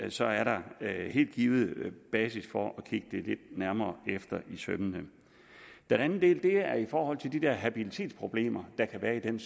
så er der helt givet basis for at kigge det lidt nærmere efter i sømmene en anden del er i forhold til de der habilitetsproblemer der kan være i den